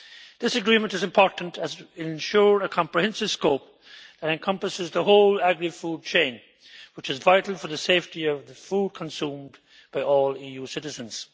This agreement is important to ensure comprehensive scope and it encompasses the whole agri food chain, which is vital for the safety of the food consumed by all EU citizens.